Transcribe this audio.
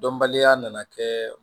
Dɔnbaliya nana kɛ